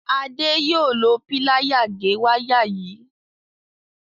Ade yóò ló Píláyà gé waya yí